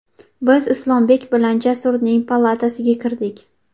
Biz Islombek bilan Jasurning palatasiga kirdik.